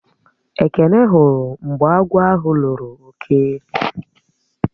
Ekene hụrụ mgbe agwọ̀ ahụ lọrò ọke